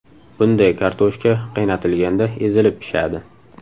Bunday kartoshka qaynatilganda ezilib pishadi.